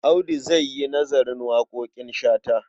Audu za yi nazarin waƙoƙin Shata.